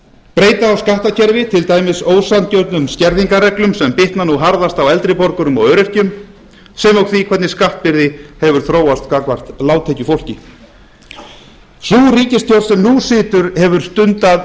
breyta á skattkerfi til dæmis ósanngjörnum skerðingarreglum sem bitna nú harðast á eldri borgurum og öryrkjum sem og því hvernig skattbyrði hefur þróast gagnvart lágtekjufólki sú ríkisstjórn sem nú situr hefur stundað